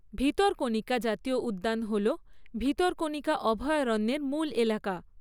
ভিতরকণিকা জাতীয় উদ্যান হল, ভিতরকণিকা অভয়ারণ্যের মূল এলাকা।